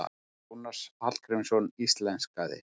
Jónas Hallgrímsson íslenskaði.